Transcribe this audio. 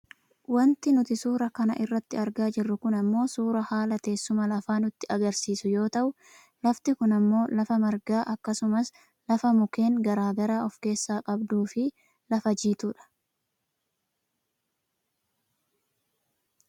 Wanti nuti suuraa kana irratti argaa jirru kun ammoo suuraa haala teessuma lafaa nutti agarsiisu yoo ta'u lafti kun ammoo lafa margaa akkasumas lafa mukeen gara garaa of keessaa qabduufi lafa jiituudha.